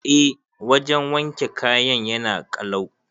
Eh wajan wanke kayan yana kalau